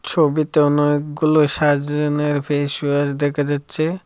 ছবিতে অনেকগুলো সাজনের ফেসওয়াশ দেখা যাচ্ছে।